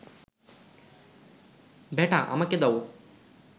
বেটা, আমাকে দাও